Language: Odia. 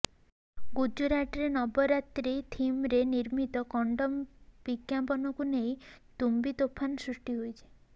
ଗୁଜୁରାଟରେ ନବରାତ୍ରୀ ଥିମରେ ନିର୍ମିତ କଣ୍ଡୋମ ବିଜ୍ଞାପନକୁ ନେଇ ତୁମ୍ବିତୋଫାନ ସୃଷ୍ଟି ହୋଇଛି